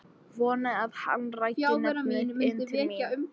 Vonaði að hann ræki nefið inn til mín.